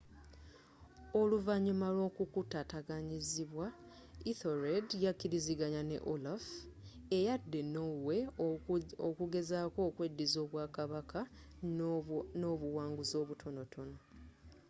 oluvanyuma lw'okkukutataganyizibwa ethelred yakilizanganya ne olaf eyadda e norway okugezzako okweddiza obwa kabaka n'obuwanguzzi obutonotono